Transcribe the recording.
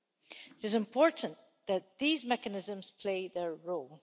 It is important that these mechanisms play their role.